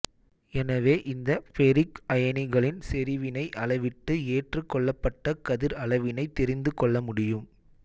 எனவே இந்த ஃபெரிக் அயனிகளின் செறிவினை அளவிட்டு ஏற்றுக் கொள்ளப்பட்ட கதிர் அளவினைத் தெரிந்து கொள்ளமுடியும்